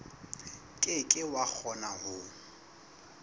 ke ke wa kgona ho